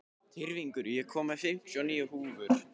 Tyrfingur, ég kom með fimmtíu og níu húfur!